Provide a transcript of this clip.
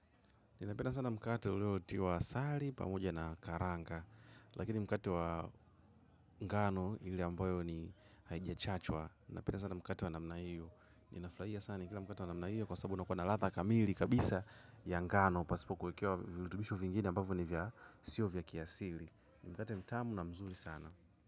Napenda sana mkate uliotiwa asali pamoja na karanga. Lakini mkate wa ngano ile ambayo ni haijachachwa. Ninapenda sana mkato wa namna hiyo. Ninapenda sana mkate wa namna hiyo kwa sababu unakuwa na ladha kamili kabisa ya ngano pasipo kuekewa virutubisho vingini ambavyo ni vya sio vya kiasili mkate mtamu na mzuri sana.